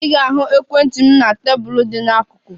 Ị ga-ahụ ekwentị m na tebụl dị n'akụkụ.